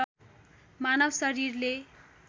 मानव शरीरले